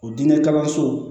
O diinɛ kalanso